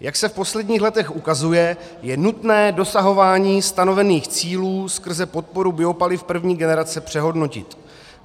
Jak se v posledních letech ukazuje, je nutné dosahování stanovených cílů skrze podporu biopaliv první generace přehodnotit.